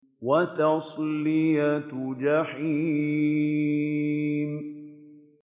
وَتَصْلِيَةُ جَحِيمٍ